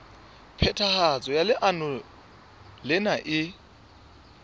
phethahatso ya leano lena e